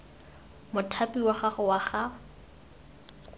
mothapi wa gago wa ga